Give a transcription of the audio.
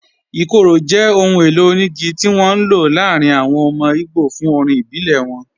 Ikoro jẹ́ ọ̀hùn èlò oníìgí tí wọn n ló láàrín àwọn ọmọ Ìgbò fún orín ìbílẹ̀ wọn